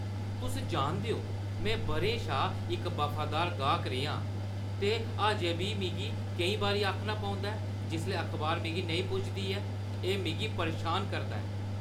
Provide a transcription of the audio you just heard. तुस जानदे ओ, में बʼरें शा इक वफादार गाह्क रेहा आं, ते अजें बी में केईं बारी आखना पौंदा ऐ जिसलै अखबार मिगी नेईं पुजदी ऐ। एह् मिगी परेशान करदा ऐ।